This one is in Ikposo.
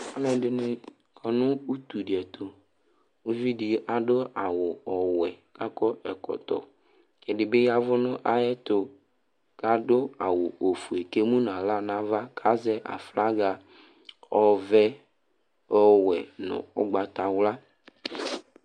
aluɛdɩnɩ kɔ nʊ utu dɩ ɛtʊ, uvidi adʊ awu ɔwɛ kʊ akɔ ɛkɔtɔ, ɛdɩbɩ ya nʊ ayɛtu, kʊ adʊ awu ofue kʊ emu nʊ aɣla nava azɛ aflaga ɔvɛ, ɔwɛ, nʊ ugbatawla